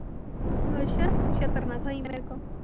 ਅੱਛਾ ਛਿੱਤਰ ਨਾ ਖਾ ਲਈ ਮੇਰੇ ਕੋਲੋਂ।